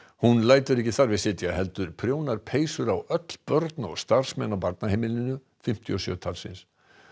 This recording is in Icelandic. hún lætur ekki þar við sitja heldur prjónar peysur á öll börn og starfsmenn og á barnaheimilinu sem fimmtíu og sjö talsins